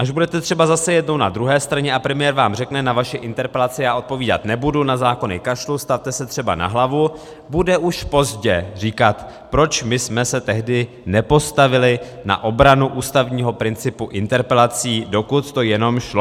Až budete třeba zase jednou na druhé straně a premiér vám řekne "na vaši interpelaci já odpovídat nebudu, na zákony kašlu, stavte se třeba na hlavu", bude už pozdě říkat, proč my jsme se tehdy nepostavili na obranu ústavnímu principu interpelací, dokud to jenom šlo.